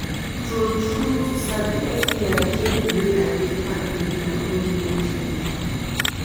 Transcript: true true to sabi sti change the way i take package my own relationship